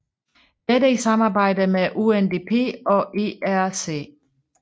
Dette i samarbejde med UNDP og IRC